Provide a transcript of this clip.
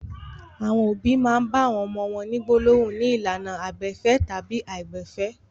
Àwọn òbí le bá àwọn ọmọ wọn ní gbólóhùn ní ìlànà àìgbẹ̀fẹ̀ tàbí àìgbẹ̀fẹ̀.